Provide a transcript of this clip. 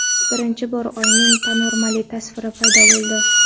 Birinchi bor Oyning panoramali tasviri paydo bo‘ldi.